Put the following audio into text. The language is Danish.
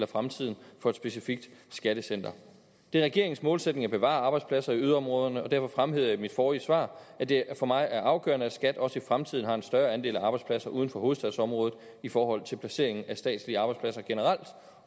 fremtiden for et specifikt skattecenter det er regeringens målsætning at bevare arbejdspladser i yderområderne og derfor fremhævede jeg i mit forrige svar at det for mig er afgørende at skat også i fremtiden har en større andel af arbejdspladserne uden for hovedstadsområdet i forhold til placeringen af statslige arbejdspladser generelt